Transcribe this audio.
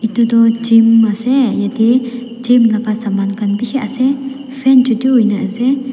edu tu gym ase yatae gym laka saman khan bishi ase fan chutu hoina ase.